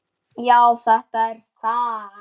Já, þetta er þar